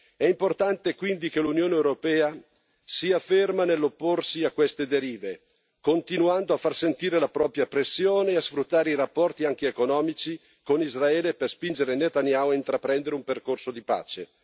È importante quindi che l'Unione europea sia ferma nell'opporsi a queste derive, continuando a far sentire la propria pressione e a sfruttare i rapporti, anche economici, con Israele per spingere Netanyahu a intraprendere un percorso di pace.